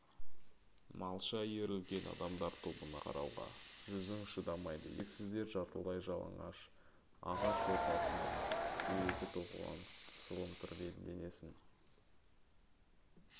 малша иірілген адамдар тобына қарауға жүзің шыдамайды еріксіздер жартылай жалаңаш ағаш торқасынан дөрекі тоқылған сылымтырмен денесін